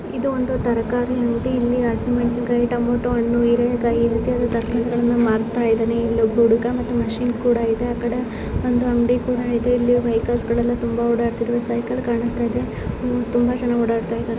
ಇದು ಒಂದು ತರಕಾರಿ ಅಂಗಡಿ ಇಲ್ಲಿ ಹಸಿಮೆಣಸಿನಕಾಯಿ ಟಮೋಟೊ ಹಣ್ಣು ಹೀರೆಕಾಯಿ ಈ ರೀತಿಯಾದಂತಹ ತರಕಾರಿಗಳು ಸಿಗುತ್ತವೆ ಮಾಡ್ತಾ ಇದೀನಿ ಇಲ್ಲ ಹುಡುಗ ಮತ್ತೆ ಮಷೀನ್ ಕೂಡ ಇದೆ ಆಕಡೆ ಒಂದು ಅಂಗಡಿ ಕೂಡ ಇದೆ ಇಲ್ಲಿ ವೆಹಿಕಲ್ಸ್ ಗಳು ತುಂಬಾ ಓಡಾಡಡ್ತಾಇದ್ದವೆ ಸೈಕಲ್ ಕಾಣಸ್ತಾಇದೆ ತುಂಬಾ ಜನ ಓಡಾಡತಾ ಇದಾರೆ .